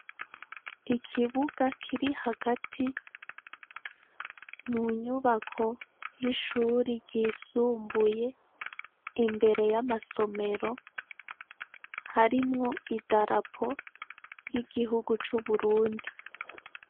Ikibuga kiri hagati munyubako yishure ryisumbuye imbere yamasomero harimwo idarapo ry'igihugu c'Uburundi.